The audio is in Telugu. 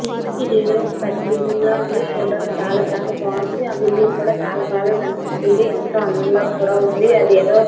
ఇది ఏదో పెద్ద బిల్డింగ్ లాగా వుంది చూడడానికి చాలా చాలా బాగున్నది ఆ బిల్డింగ్ కూడా చాలా బాగా కనిపిస్తున్నది ఎంతో అందంగా కూడా ఉన్నది.